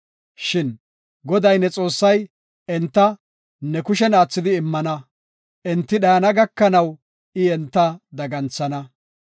Shin Goday, ne Xoossay enta ne kushen aathidi immana; enti dhayana gakanaw I enta daganthana.